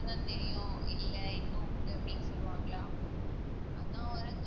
அப்புறம்தான் தெரியும் இல்லை இன்னும் உண்டு அப்படின்னு சொல்லுவாங்களா அதான் ஒரு